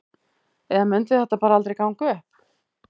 Eða mundi þetta bara aldrei ganga upp?